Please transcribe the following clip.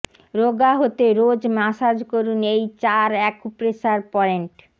রোগা হতে রোজ মাসাজ করুন এই চার অ্যাকুপ্রেশার পয়েন্ট